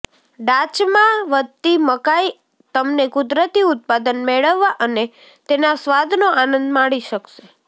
ડાચમાં વધતી મકાઈ તમને કુદરતી ઉત્પાદન મેળવવા અને તેના સ્વાદનો આનંદ માણી શકશે